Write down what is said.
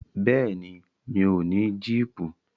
Bẹ́ẹ̀ni, mi ò ní jíìpù.